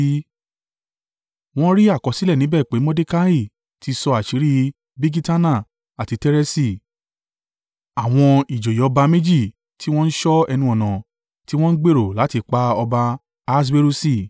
Wọ́n rí àkọsílẹ̀ níbẹ̀ pé Mordekai tí sọ àṣírí Bigitana àti Tereṣi, àwọn ìjòyè ọba méjì tí wọ́n ń ṣọ́ ẹnu-ọ̀nà, tí wọ́n ń gbèrò láti pa ọba Ahaswerusi.